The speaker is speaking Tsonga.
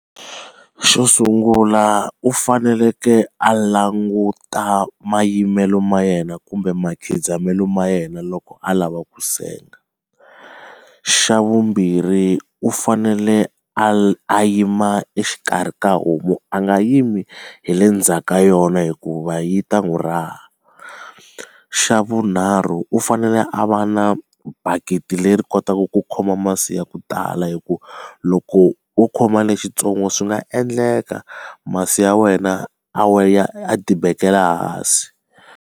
Xo sungula u faneleke a languta mayimbelelo ma yena kumbe ma khidzamelo ma yena loko a lava ku senga xa vumbirhi u fanele a a yima exikarhi ka homu a nga yimi hi le ndzhaku ka yona hikuva yi ta n'wi raha xa vunharhu u fanele a va na bakiti leri kotaka ku khoma masi ya ku tala hi ku loko wo khoma lexitsongo swi nga endleka masi ya wena a dibekela hansi.